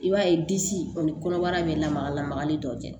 I b'a ye disi kɔni kɔnɔbara bɛ lamaga lamagali dɔ kɛ